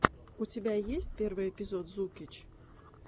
у тебя есть первый эпизод зукич